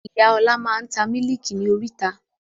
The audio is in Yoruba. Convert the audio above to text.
Ìyá ọ̀la máa ń ta Mílíkì ni oríta.